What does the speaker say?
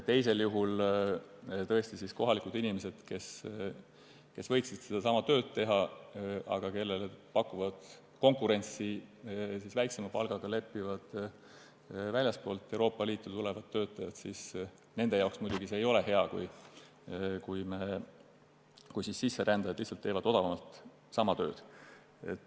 Teisel juhul, kui on olemas kohalikud inimesed, kes võiksid sedasama tööd teha, aga kellele pakuvad konkurentsi väiksema palgaga leppivad väljastpoolt Euroopa Liitu tulevad töötajad, siis nende jaoks see, kui sisserändajad teevad sama tööd odavamalt, hea ei ole.